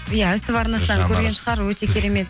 иә ств арнасынан көрген шығар өте керемет